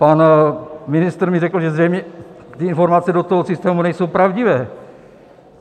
Pan ministr mi řekl, že zřejmě ty informace do toho systému nejsou pravdivé.